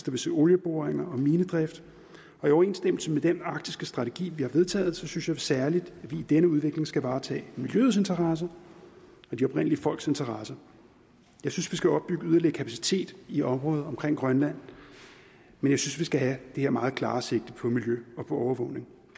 vil se olieboringer og minedrift og i overensstemmelse med den arktiske strategi vi har vedtaget synes jeg særlig at vi i denne udvikling skal varetage miljøets interesser og de oprindelige folks interesser jeg synes vi skal opbygge yderligere kapacitet i området omkring grønland men jeg synes vi skal have det her meget klare sigte på miljø og på overvågning